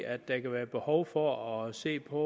at der kan være behov for at se på